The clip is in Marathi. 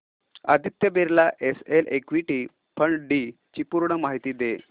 Aditya Birla SL equity fund D ची पूर्ण माहिती दे